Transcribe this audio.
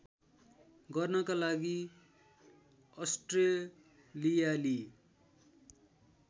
गर्नका लागि अस्ट्रेलियाली